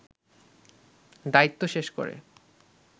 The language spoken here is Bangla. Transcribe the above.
দায়িত্ব শেষ করে